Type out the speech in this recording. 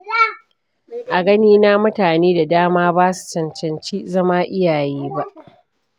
A ganina mutane da dama ba su cancanci zama iyaye ba.